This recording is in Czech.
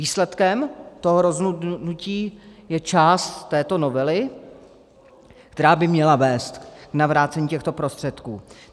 Výsledkem toho rozhodnutí je část této novely, která by měla vést k navrácení těchto prostředků.